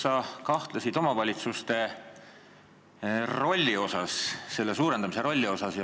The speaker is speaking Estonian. Sa kahtlesid omavalitsuste rolli suurendamises.